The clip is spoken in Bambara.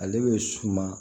Ale bɛ suma